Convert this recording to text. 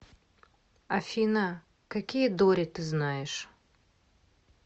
афина какие дори ты знаешь